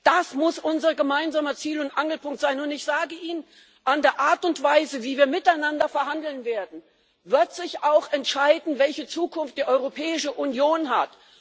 Das muss unser gemeinsamer Ziel und Angelpunkt sein, und ich sage Ihnen An der Art und Weise, wie wir miteinander verhandeln werden, wird sich auch entscheiden, welche Zukunft die Europäische Union hat.